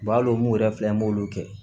Balo mun yɛrɛ filɛ an b'olu kɛ